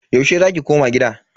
Yaushe za ki koma gida?